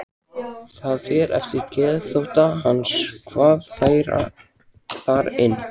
Það fer eftir geðþótta hans hvað fær þar inni.